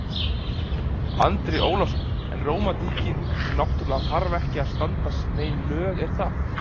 Andri Ólafsson: En rómantíkin hún náttúrulega þarf ekki að standast nein lög er það?